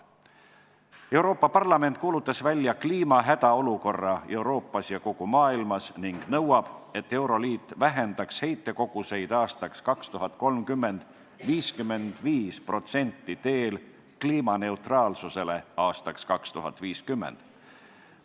Euroopa Parlament on kuulutanud välja kliima hädaolukorra Euroopas ja kogu maailmas ning nõuab, et teel kliimaneutraalsuse saavutamisele aastaks 2050 vähendaks euroliit 2030. aastaks heitkoguseid 55%.